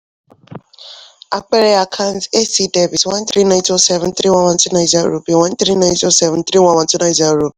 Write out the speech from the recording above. àpẹẹrẹ àkàǹtì: a/c dr one three nine two zero seven three one one two nine zero